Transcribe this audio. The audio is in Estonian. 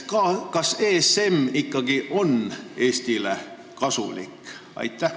Kas ESM ikkagi on Eestile kasulik?